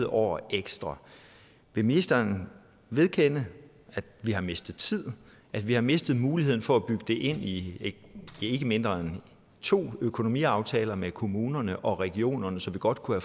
år ekstra vil ministeren vedkende at vi har mistet tid at vi har mistet muligheden for at bygge det ind i ikke mindre end to økonomiaftaler med kommunerne og regionerne så vi godt kunne